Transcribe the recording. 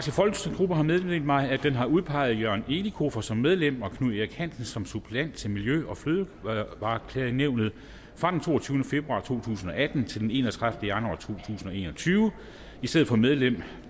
meddelt mig at den har udpeget jørgen elikofer som medlem og knud erik hansen som suppleant til miljø og fødevareklagenævnet fra den toogtyvende februar to tusind og atten til den enogtredivete januar to tusind og en og tyve i stedet for medlem